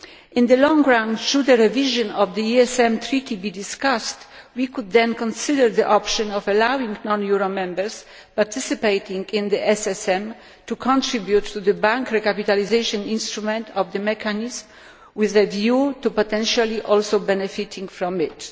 In the long run, should the revision of the ESM Treaty be discussed, we could then consider the option of allowing non euro Members participating in the SSM to contribute to the bank recapitalisation instrument of the mechanism, with a view to potentially also benefiting from it.